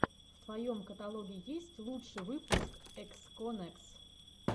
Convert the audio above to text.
в твоем каталоге есть лучший выпуск эксконэкс